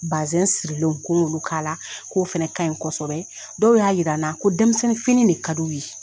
Bazɛn sirilen ko olu k'a la k'o fana ka ɲi kosɛbɛ dɔw y'a jira n na ko denmisɛnninfini de ka di u ye